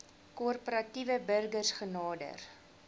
korporatiewe burgers genader